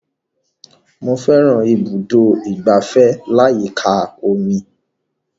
Mo fẹ́ran ibùdó ìgbafẹ́ aláyíká omi